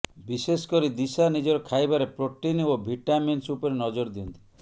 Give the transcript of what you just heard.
ବିଶେଷକରି ଦିଶା ନିଜର ଖାଇବାରେ ପ୍ରୋଟିନ୍ ଓ ଭିଟାମିନ୍ସ ଉପରେ ନଜର ଦିଅନ୍ତି